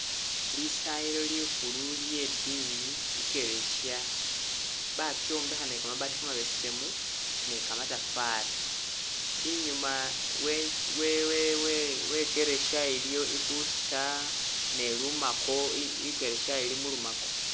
Lisayilo likhulu lye diini ikeresiya, bakyombekha ne kamabati kamabesemu ne kamatafari, inyuma wenzu- we- we- we-wekeresiya iliyo i booster ne lumako, ikeresiya ili mulumako